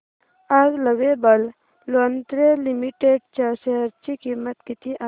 आज lovable lingerie limited च्या share ची किंमत किती आहे